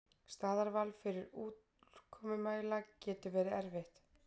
Staðarval fyrir úrkomumæla getur verið erfitt.